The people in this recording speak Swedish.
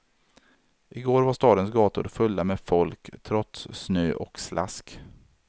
I går var stadens gator fulla med folk, trots snö och slask.